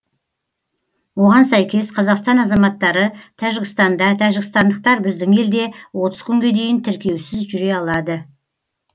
оған сәйкес қазақстан азаматтары тәжікстанда тәжікстандықтар біздің елде отыз күнге дейін тіркеусіз жүре алады